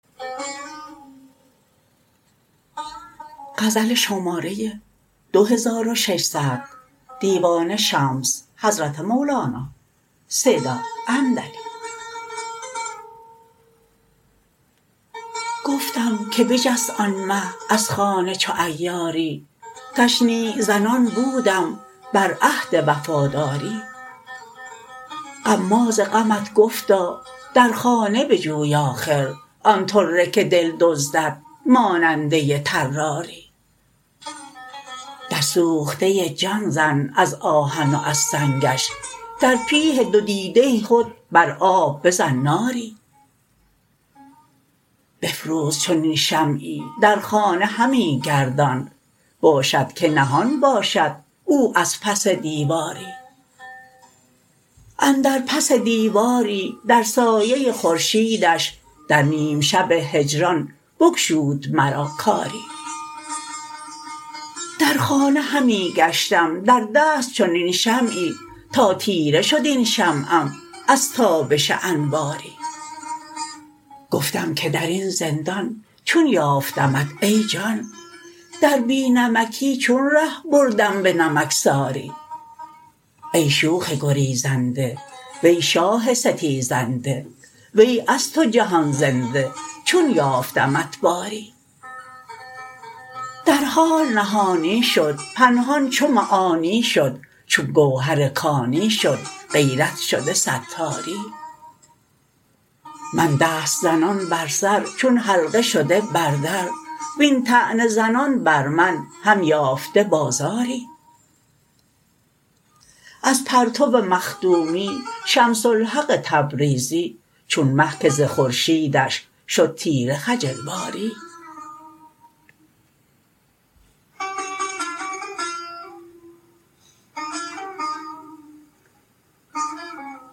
گفتم که بجست آن مه از خانه چو عیاری تشنیع زنان بودم بر عهد وفاداری غماز غمت گفتا در خانه بجوی آخر آن طره که دل دزدد ماننده طراری در سوخته جان زن از آهن و از سنگش در پیه دو دیده خود بر آب بزن ناری بفروز چنین شمعی در خانه همی گردان باشد که نهان باشد او از پس دیواری اندر پس دیواری در سایه خورشیدش در نیم شب هجران بگشود مرا کاری در خانه همی گشتم در دست چنین شمعی تا تیره شد این شمعم از تابش انواری گفتم که در این زندان چون یافتمت ای جان در بی نمکی چون ره بردم به نمکساری ای شوخ گریزنده وی شاه ستیزنده وی از تو جهان زنده چون یافتمت باری در حال نهانی شد پنهان چو معانی شد چون گوهر کانی شد غیرت شده ستاری من دست زنان بر سر چون حلقه شده بر در وین طعنه زنان بر من هم یافته بازاری از پرتو مخدومی شمس الحق تبریزی چون مه که ز خورشیدش شد تیره خجل واری